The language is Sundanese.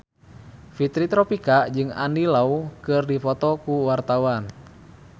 Fitri Tropika jeung Andy Lau keur dipoto ku wartawan